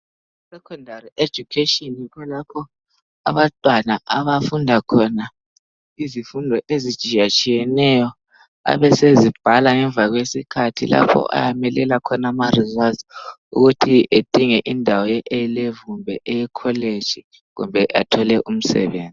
I secondary education yikho lapho abantwana abafunda khona izifundo ezitshiyatshiyaneyo abesezibhala ngemva kwesikhathi lapho ayamelela khona ama results ukuthi adinge indawo yeAlevel kumbe eyekholeji kumbe athole umsebenzi